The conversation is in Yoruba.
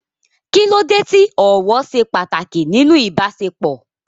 Kí ló dé tí ọ̀wọ̀ ṣe pàtàkì nínú ìbáṣepọ̀?